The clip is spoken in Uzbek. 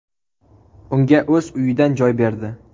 Unga o‘z uyidan joy berdi.